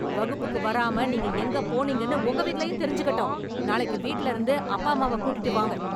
வகுப்புக்கு வராம நீங்க எங்க போனீங்கன்னு உங்க வீட்லயும் தெரிஞ்சுக்கட்டும், நாளைக்கு வீட்ல இருந்து அப்பா அம்மாவ கூட்டிட்டு வாங்க.